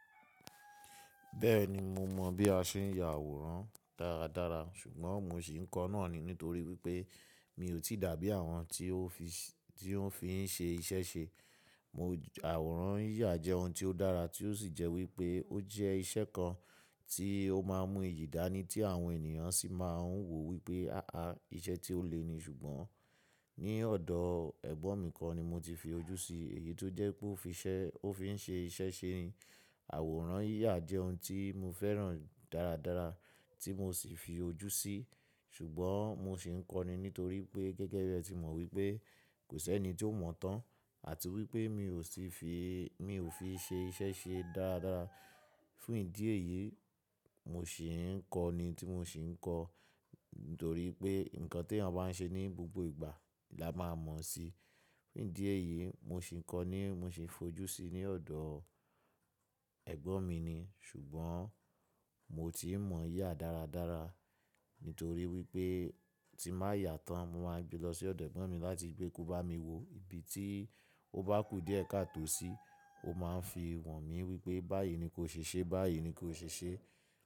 Bẹ́ẹ̀ni mo mọ̀ bí a ṣe ń ya àwòrán dáradára ṣùgbọ́n mo sì ń kọ́ náà ni nítorí wípé mi ò tí dàbí àwọn tí ó fi ń ṣe iṣẹ́ ṣe. Àwòrán yíyà jẹ́ ohun tí ó dára tí ó sì jẹ́ wípé ó jẹ́ ìṣe kan tí ó má ń mú ìdání tí àwọn ènìyàn sì má ń wò wípé, á a iṣẹ́ tí ó le ni ṣùgbọ́n ní ọ̀dọ ẹ̀gbọ́n mi kan ni mo ti fi ojú sí, èyí tó jẹ́ pé ó fi ń ṣe iṣẹ́ ṣe ni. Àwòrán yíyà jẹ́ ohun tí mo fẹ́ràn dáradára tí mo sì fi ojú sí, ṣùgbọ́n mo sì ń kọ́ni nítorí pé gẹ́gẹ́ bí ẹ ti mọ̀ wípé kò sí ẹni tí ó mọ̀ tán àti wípé mi o si fi mi ò fi ṣe iṣẹ́ ṣe dáradára. Fún ìdí èyí, mo sì ń kọ́ni tí mo sì ń kọ́ nítorí pé nǹkan tí ènìyàn bá ń ṣe ní gbogbo ìgbà la máa mọ̀ si. Fún ìdí èyí mo sì ń kọ́ni, mo sì ń fojú sí ní ọ̀dọ ẹ̀gbọ́n mi ni ṣùgbọ́n mo ti n mọ yà dáradára nítorí wípé tí n bá yà tán mo máa n gbé lọ sí ọ̀dọ ẹ̀gbọ́n mi láti pé kó bá mi wo ibi tí ó bá kù díẹ̀ káto sí, ó má ń fi wọ̀n mí wípé báyìí ni kó ṣe ṣe, báyìí ni kó ṣe ṣe.